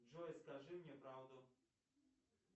джой скажи мне правду